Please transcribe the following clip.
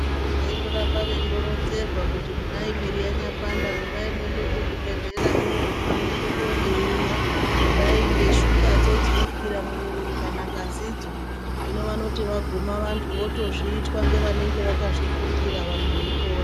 Vantu vaindoramba veironzerwa kuti kudai mwiri yanyapanda rumbai muende kuzvibhehlera mwoguma mwoenda koningirwa kudai ngeshukadzo dzinokwira mumwiri kana ngazidzo. Hino vanoto vaguma vantu votozviitwa ngevanenge vakazvifundirwa vamwe veipora.